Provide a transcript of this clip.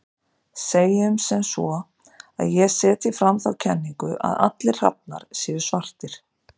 Segjum sem svo að ég setji fram þá kenningu að allir hrafnar séu svartir.